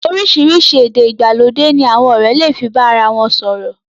Oríṣìíríṣìí èdè ìgbàlódé ní àwọn ọ̀rẹ́ lè fi bá ara wọ̀n sọ̀rọ̀.